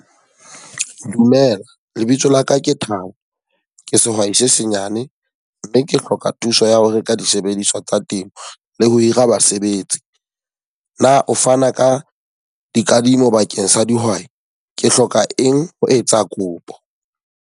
Dumela, lebitso la ka ke Thabo. Ke sehwai se senyane. Mme ke hloka thuso ya ho reka disebediswa tsa temo le ho hira basebetsi. Na o fana ka dikadimo bakeng sa dihwai? Ke hloka eng ho etsa kopo?